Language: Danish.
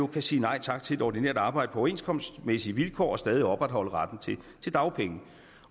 kan sige nej tak til et ordinært arbejde på overenskomstmæssige vilkår og stadig opretholde retten til dagpenge